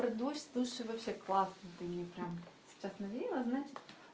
про дождь слушай вообще классно ты мне прям сейчас навеяла значит